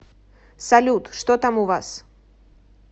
салют что там у вас